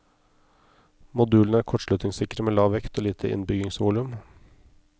Modulene er kortslutningssikre med lav vekt og lite innbyggingsvolum.